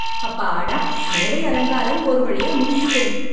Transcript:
அப்பாடா, மேடை அலங்காரம் ஒரு வழியா முடிஞ்து!